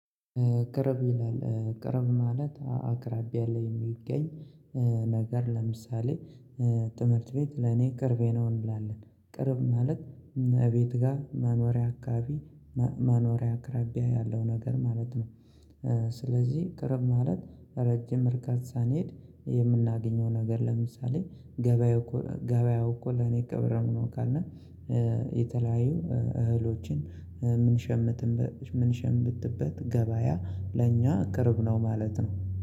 ቀርብ ይላል ቀርብ ማለት አቅራቢያ ያለ የሚገኝ ነገር ለምሳሌ ትምህርት ቤት ለኔ ቅርቤ ነው። እንላለን ቅርብ ማለት እኛ ቤት ጋር መኖሪያ አካባቢ መኖርያ አቅራቢያ ያለው ነገር ማለት ነው። ስለዚህ ቅርብ ማለት ረጅም እርቀት ሳንሄድ የምናገኘው ነገር ለምሳሌ ገበያው ከሆነ ገበያው እኮ ለኔ ቅርብ ነው ካልን። የተለያዩ እህሎችን ምንሸምትበት ምንሸምትበት ገበያ ለኛ ቅርብ ነው ማለት ነው